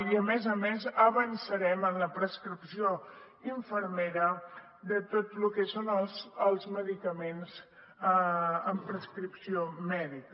i a més a més avançarem en la prescripció infermera de tot el que són els medicaments amb prescripció mèdica